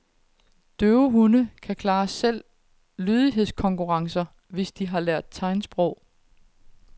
Døve hunde kan klare selv lydighedskonkurrencer, hvis de har lært tegnsprog.